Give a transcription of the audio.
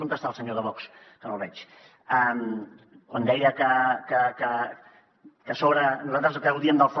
on està el senyor de vox que no el veig quan deia que a sobre nosaltres gaudim del fla